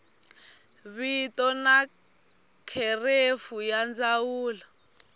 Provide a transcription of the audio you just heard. vito na kherefu ya ndzawulo